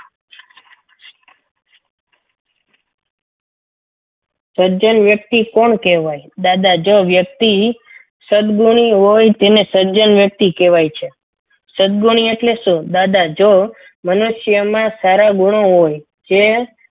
સજ્જન વ્યક્તિ કોણ કહેવાય દાદા જો વ્યક્તિ સદગુણી હોય તેને સર્જન વ્યક્તિ કહેવાય છે સદગુણ્ય એટલે શું દાદા જો મને મનુષ્યમાં સારા ગુણ હોય જે.